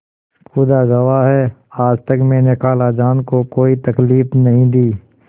खुदा गवाह है आज तक मैंने खालाजान को कोई तकलीफ नहीं दी